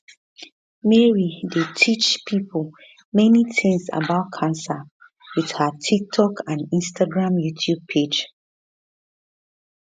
mary dey teach pipo many tins about cancer wit her tiktok instagram and youtube page